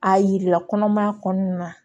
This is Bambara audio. A yirala kɔnɔmaya kɔnɔna na